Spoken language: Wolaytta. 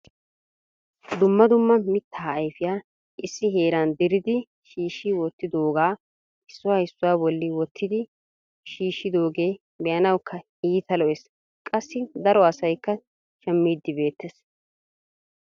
Dumma dumma mittaa ayfeya issi heeran diridi shiishshi wottidooga issuwa issuwaa bolli wottidi shuutyidooge be"anawukka iitta lo"es qassi daro asaykka shammiidi beettees.